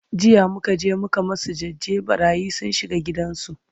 jiya muka je muka masu jaje, ɓarayi sun shiga gidan su